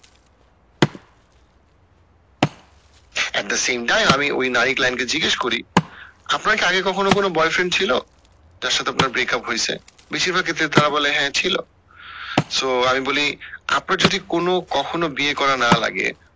at the same time আমি নারীও client কে জিজ্ঞাসা করি আপনার কি আগে কখনো কোনো boyfriend ছিল যার সাথে আপনার breakup হয়েছে বেশির ভাগ ক্ষেত্রে তারা বলে হ্যাঁ ছিল so আমি বলি আপনার যদি কোনো কখনো বিয়ে করা না লাগে